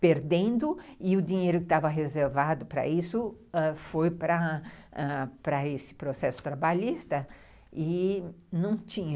perdendo e o dinheiro que estava reservado para isso foi ãh para esse processo trabalhista e não tinha.